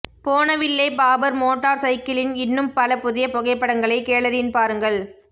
Bonneville Bobber மோட்டார் சைக்கிளின் இன்னும் பல புதிய புகைப்படங்களை கேலரியின் பாருங்கள்